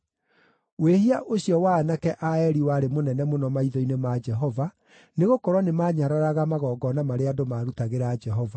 Wĩhia ũcio wa aanake a Eli warĩ mũnene mũno maitho-inĩ ma Jehova, nĩgũkorwo nĩmanyararaga magongona marĩa andũ maarutagĩra Jehova.